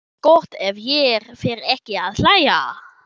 Gott ef ég fer ekki að hlæja.